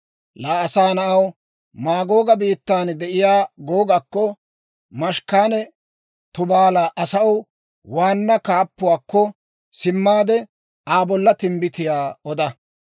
«Laa asaa na'aw, Maagooga biittan de'iyaa Googakko, Meshekanne Tubaala asaw waanna kaappuwaakko simmaade, Aa bolla timbbitiyaa oda.